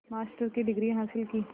master की degree हासिल की